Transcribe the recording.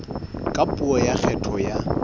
ka puo ya kgetho ya